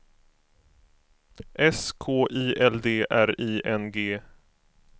S K I L D R I N G